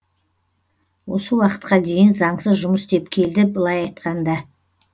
осы уақытқа дейін заңсыз жұмыс істеп келді былай айтқанда